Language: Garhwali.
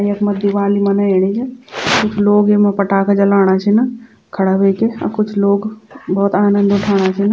यखमा दिवाली मनेयेणी च इख लोग एमा पटाखा जलाणा छिन खड़ा ह्वेकि अ कुछ लोग भौत आनंद उठाणा छिन।